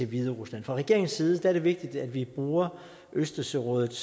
hviderusland fra regeringens side er det vigtigt at vi bruger østersørådet